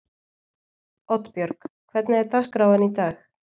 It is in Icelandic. Oddbjörg, hvernig er dagskráin í dag?